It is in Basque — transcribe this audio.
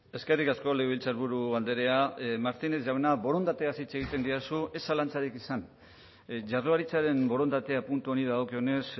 eskerrik asko legebiltzarburu andrea martínez jauna borondateaz hitz egiten didazu ez zalantzarik izan jaurlaritzaren borondatea puntu honi dagokionez